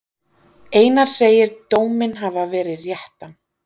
Einar segir dóminn hafa verið réttan.